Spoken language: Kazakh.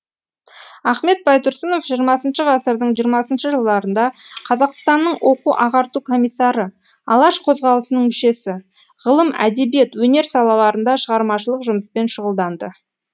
ахмет байтұрсынов жиырмасыншы ғасырдың жиырмасыншы жылдарында қазақстанның оқу ағарту комиссары алаш қозғалысының мүшесі ғылым әдебиет өнер салаларында шығармашылық жұмыспен шұғылданды